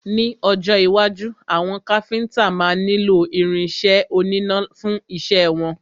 Ní ọjọ́ iwájú, àwọn Káfíntà máa nílo irin isẹ́ oníná fún isẹ́ wọn.